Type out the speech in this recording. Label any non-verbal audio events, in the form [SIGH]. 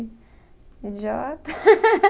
Idiota. [LAUGHS]